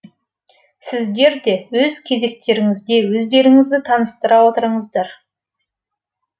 сіздерде өз кезектеріңізде өздеріңізді таныстыра отырыңыздар